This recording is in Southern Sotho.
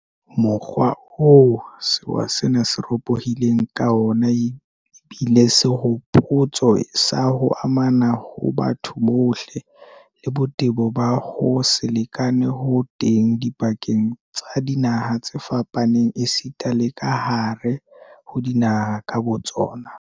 Mokgwa oo sewa sena se ropo-hileng ka wona ebile sehopotso sa ho amana ha batho bohle, le botebo ba ho se lekane ho teng dipakeng tsa dinaha tse fapaneng esita le kahare ho dinaha ka botsona.